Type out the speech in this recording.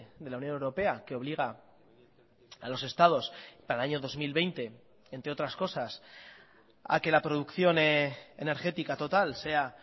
de la unión europea que obliga a los estados para el año dos mil veinte entre otras cosas a que la producción energética total sea